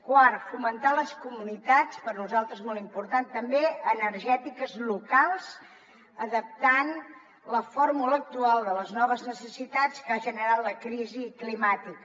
quart fomentar les comunitats per nosaltres molt important també energètiques locals i adaptar ne la fórmula actual a les noves necessitats que ha generat la crisi climàtica